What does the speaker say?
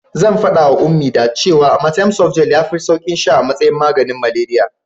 Zan faɗawa Ummi that cewa amatem softgel yafi saukin sha a matsayin maganin malariya.